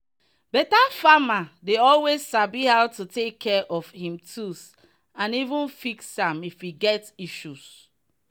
better farmer dey always sabi how to take care of him tools and even fix am if e get issues.